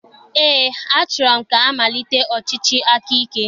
Eé, achọrọ m ka amalitekwa ọchịchị akaike.